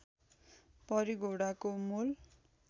परी घोडाको मोल